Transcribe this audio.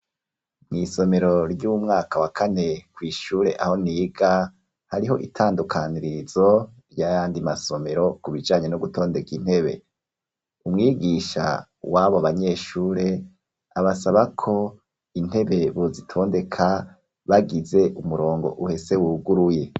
Mw'isomero ry'umwaka wa kane kw'ishure aho niga, hariho itandukanirizo ry'ayandi masomero ku bijanye no gutondeka intebe, umwigisha w'abo banyeshure, abasaba ko intebe bozitondeka bagize umurongo uhese wuguruye.